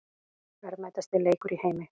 Verðmætasti leikur í heimi